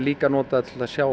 notað að sjá